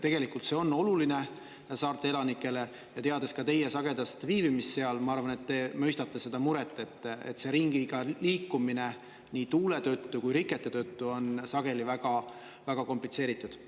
Tegelikult see on oluline saarte elanikele ja teades ka teie sagedast viibimist seal, ma arvan, et te mõistate seda muret, et see ringiga liikumine nii tuule tõttu kui rikete tõttu on sageli väga komplitseeritud.